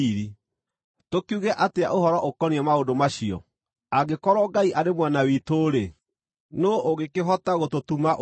Tũkiuge atĩa ũhoro ũkoniĩ maũndũ macio? Angĩkorwo Ngai arĩ mwena witũ-rĩ, nũũ ũngĩkĩhota gũtũtuma ũthũ?